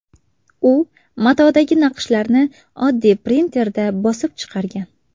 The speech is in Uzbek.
U matodagi naqshlarni oddiy printerda bosib chiqargan.